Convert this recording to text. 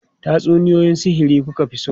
Tatsuniyoyi sihiri ku ka fi so?